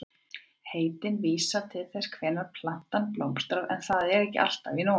Heitin vísa til þess hvenær plantan blómstrar en það er ekki alltaf í nóvember.